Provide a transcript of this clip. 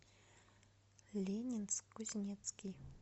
ленинск кузнецкий